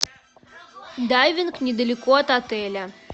дайвинг недалеко от отеля